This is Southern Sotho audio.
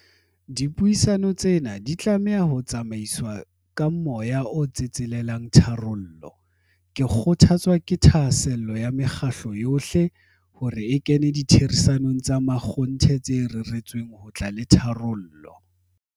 Dipuisano tsena di tlameha ho tsamaiswa ka moya o tsetselelang ditharollo. Ke kgothatswa ke thahasello ya mekgatlo yohle, hore e kene ditherisanong tsa makgonthe tse reretsweng ho tla le tharollo.